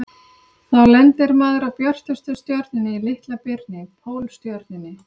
Þá lendir maður á björtustu stjörnunni í Litla-birni, Pólstjörnunni.